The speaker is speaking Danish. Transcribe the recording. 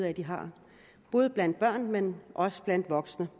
at de har både blandt børn men også blandt voksne